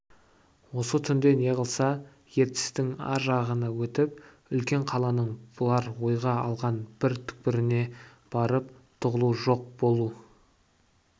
осы түнде неғылса ертістің ар жағына өтіп үлкен қаланың бұлар ойға алған бір түкпіріне барып тығылу жоқ болу